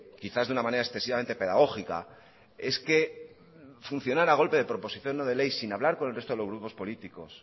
quizás de una manera excesivamente pedagógica es que funcionar a golpe de proposición no de ley sin hablar con el resto de los grupos políticos